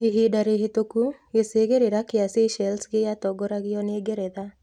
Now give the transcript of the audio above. Ihinda rĩhĩtũku Gĩcigĩrĩra kĩa Seychelles gĩatongoragio nĩ Ngeretha.